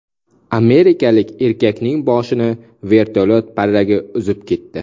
Amerikalik erkakning boshini vertolyot parragi uzib ketdi.